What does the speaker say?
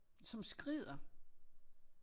Som skrider